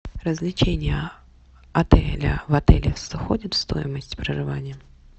развлечения отеля в отеле входят в стоимость проживания